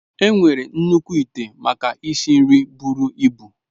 Enwere nnukwu ite maka isi nri buru ibu.